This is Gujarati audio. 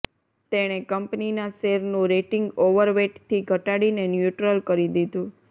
તેણે કંપનીના શેરનું રેટિંગ ઓવરવેટથી ઘટાડીને ન્યુટ્રલ કરી દીધું